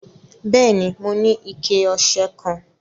Bẹẹni, mò ní ìkẹ̀-ọṣẹ kan.